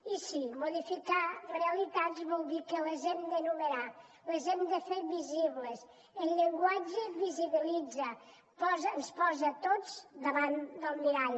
i sí modificar realitats vol dir que les hem d’enumerar les hem de fer visibles el llenguatge visibilitza ens posa a tots davant del mirall